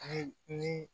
Ayi ni